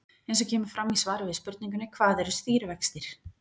Eins og kemur fram í svari við spurningunni Hvað eru stýrivextir?